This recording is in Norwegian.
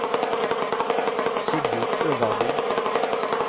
Sigurd Øverby